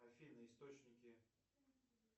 афина источники